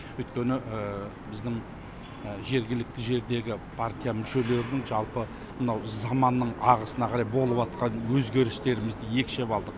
өйткені біздің жергілікті жердегі партия мүшелерінің жалпы мынау заманның ағысына қарай болып жатқан өзгерістерімізді екшеп алдық